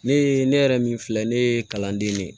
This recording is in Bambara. Ne ye ne yɛrɛ min filɛ ne ye kalanden de ye